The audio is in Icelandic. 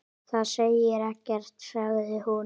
Það segir ekkert sagði hún.